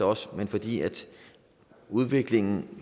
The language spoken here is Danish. også fordi udviklingen